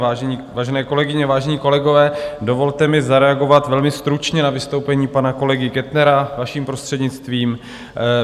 Vážené kolegyně, vážení kolegové, dovolte mi zareagovat velmi stručně na vystoupení pana kolegy Kettnera, vaším prostřednictvím.